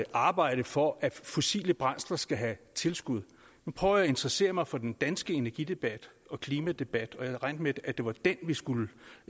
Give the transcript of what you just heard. arbejde for at fossile brændsler skal have tilskud jeg prøver at interessere mig for den danske energidebat og klimadebat og jeg havde regnet med at det var den vi skulle